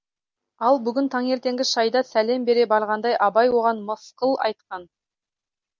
ал бүгін таңертеңгі шайда сәлем бере барғанда абай оған мысқыл айтқан